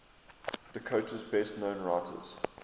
dakota's best known writers